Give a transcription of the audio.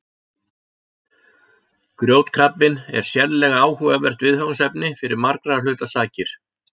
Grjótkrabbinn er sérlega áhugavert viðfangsefni fyrir margra hluta sakir.